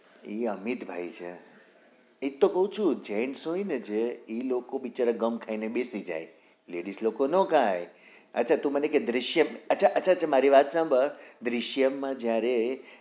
એ અમિત ભાઈ છે એ તો કઉ જ છુ gents હોય ને જે ઈ લોકો બિચારા ગમ ખાઈ ને બેસી જાય ladies લોકો ના ખાય અચ્છા તું મને કે દૃશય્મ અચ્છા અચ્છા મારી વાત સાંભળ દૃશ્યમ માં જયારે